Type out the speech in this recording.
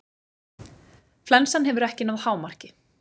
Flensan hefur ekki náð hámarki.